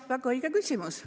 Väga õige küsimus.